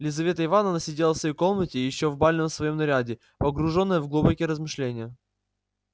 лизавета ивановна сидела в своей комнате ещё в бальном своём наряде погруженная в глубокие размышления